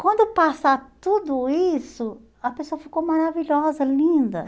Quando passa tudo isso, a pessoa ficou maravilhosa, linda.